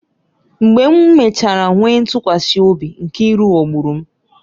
Mgbe m mechara nwee ntụkwasị obi, Nkiru ghọgburu m